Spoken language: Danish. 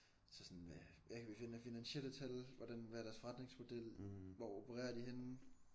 Så sådan hvad hvad kan vi finde af finansielle tal hvordan hvad er deres forretningsmodel hvor opererer de henne